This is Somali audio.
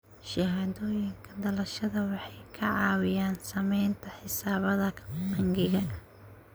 Shahaadooyinka dhalashada waxay ka caawiyaan samaynta xisaabaadka bangiga.